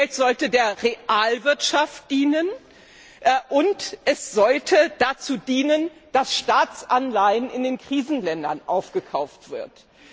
Dieses Geld sollte der Realwirtschaft dienen, und es sollte dazu dienen, dass Staatsanleihen in den Krisenländern aufgekauft werden.